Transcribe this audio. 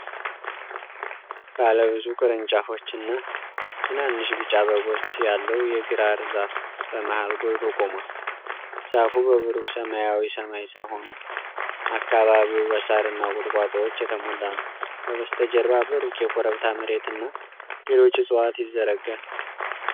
ባለ ብዙ ቅርንጫፎች እና ትናንሽ ቢጫ አበቦች ያለው የግራር ዛፍ በመሃል ጎልቶ ቆሟል። ዛፉ በብሩህ ሰማያዊ ሰማይ ስር ሆኖ፣ አካባቢው በሳርና ቁጥቋጦዎች የተሞላ ነው። ከበስተጀርባ በሩቅ የኮረብታ መሬትና ሌሎች እፅዋት ይዘረጋል።